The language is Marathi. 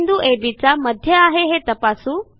सी बिंदू अब चा मध्य आहे हे तपासू